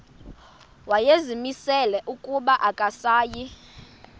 wayezimisele ukuba akasayi